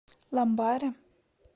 ламбаре